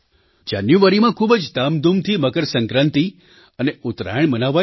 જાન્યુઆરીમાં ખૂબ જ ધામધૂમથી મકરસંક્રાંતિ અને ઉત્તરાયણ મનાવાય છે